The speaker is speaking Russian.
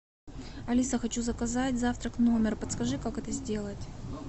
алиса хочу заказать завтрак в номер подскажи как это сделать